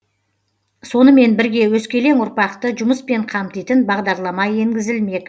сонымен бірге өскелең ұрпақты жұмыспен қамтитын бағдарлама енгізілмек